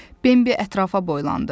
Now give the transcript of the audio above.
Bembi ətrafa boylandı.